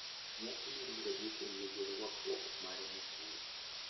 Nyasi mar graduation nigi rwakruok mare makende.